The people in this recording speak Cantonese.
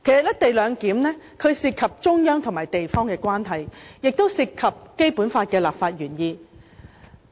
"一地兩檢"涉及中央與地方的關係，亦涉及《基本法》的立法原意。